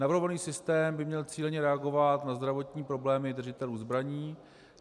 Navrhovaný systém by měl cíleně reagovat na zdravotní problémy držitelů zbraní.